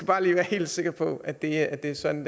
bare lige være helt sikker på at det er er sådan